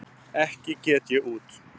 Ekki get ég út